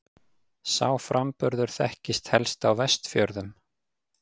Sá framburður þekktist helst á Vestfjörðum.